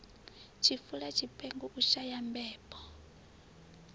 tshifula tshipengo u shaya mbebo